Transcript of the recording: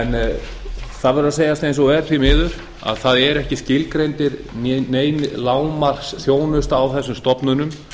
það verður að segjast eins og er því miður að það er ekki skilgreind nein lágmarksþjónusta á þessum stofnunum